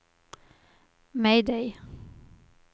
mayday